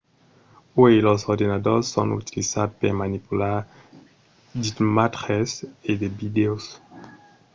uèi los ordenadors son utilizats per manipular d'imatges e de vidèos